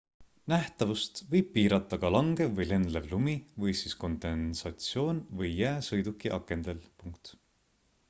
nähtavust võib piirata ka langev või lendlev lumi või siis kondensatsioon või jää sõiduki akendel